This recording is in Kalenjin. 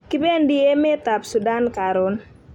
kipendi emet ab sudan karun